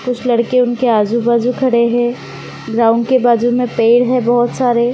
कुछ लड़के उनके आजू-बाजू खड़े है। ग्राउंड के बाजू मे पेड़ है बहुत सारे।